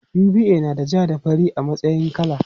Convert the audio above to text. UBA nada ja da fari a matsayin kala.